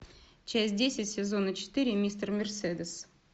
часть десять сезона четыре мистер мерседес